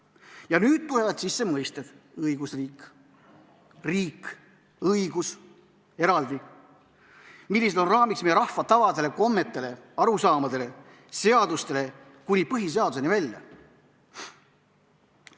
Ja nüüd tulevad sisse mõisted, õigusriik, riik, õigus eraldi, mis on raamiks meie rahva tavadele, kommetele, arusaamadele, seadustele, kuni põhiseaduseni välja.